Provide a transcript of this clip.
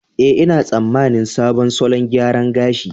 Eh, ina tsammanin sabon salon gyaran gashi.